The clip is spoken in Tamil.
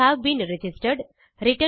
you have been registered